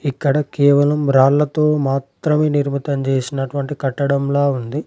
ఇక్కడ కేవలం రాళ్ళతో మాత్రమే నిర్మితం చేసినటువంటి కట్టడంలా ఉంది.